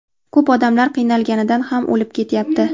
Ko‘p odamlar qiynalganidan ham o‘lib ketyapti.